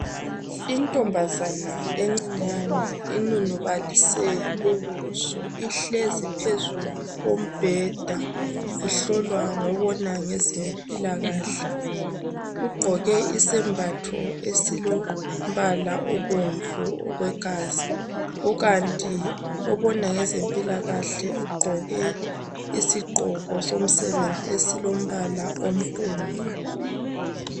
Intombazana encinyane, inunubalise ubuso. Ihlezi phezu kombheda,,ihlolwa ngobona ngezempilakahle. Ugqoke isembatho esilombala obomvu okwegazi, kukanti obona ngezempilakahle ugqoke isigqoko somsebenzi esilombala ompunga.